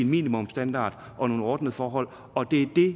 minimumsstandard og nogle ordnede forhold og det er